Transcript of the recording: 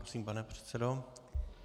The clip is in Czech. Prosím, pane předsedo.